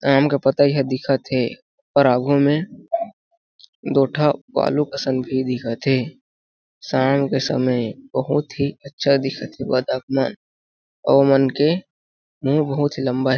आम के पतिये दिखथे और आगू में दो ठा बालू सं दिखथे शाम के समय बहुत ही अच्छा दिखत हे बतख मन अउ मन के बहुत ही लम्बा --